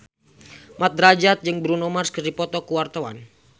Mat Drajat jeung Bruno Mars keur dipoto ku wartawan